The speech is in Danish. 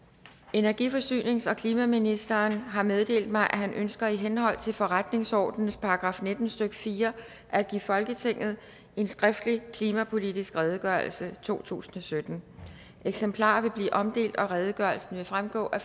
energi forsynings og klimaministeren har meddelt mig at han ønsker i henhold til forretningsordenens § nitten stykke fire at give folketinget en skriftlig klimapolitisk redegørelse totusinde og syttende eksemplarer vil blive omdelt og redegørelsen vil fremgå af